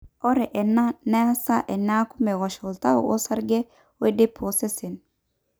ore ena neesa eneeku meosh oltau osarge ooidip osesen